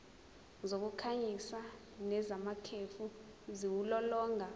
zokukhanyisa nezamakhefu ziwulolonga